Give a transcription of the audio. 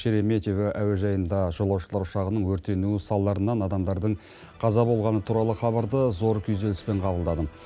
шереметьево әуежайында жолаушылар ұшағының өртенуі салдарынан адамдардың қаза болғаны туралы хабарды зор күйзеліспен қабылдадым